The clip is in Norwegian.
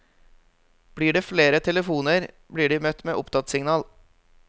Blir det flere telefoner, blir de møtt med opptattsignal.